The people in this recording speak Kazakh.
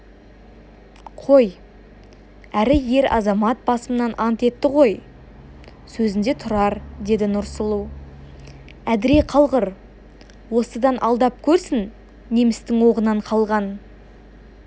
қой әрі ер-азамат басымен ант етті ғой сөзінде тұрар деді нұрсұлу әдіре қалғыр осыдан алдап көрсін немістің оғынан қалған